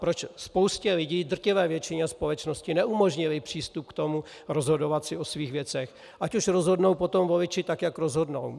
Proč spoustě lidí, drtivé většině společnosti, neumožnili přístup k tomu, rozhodovat si o svých věcech, ať už rozhodnou potom voliči tak, jak rozhodnou?